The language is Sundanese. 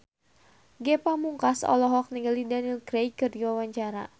Ge Pamungkas olohok ningali Daniel Craig keur diwawancara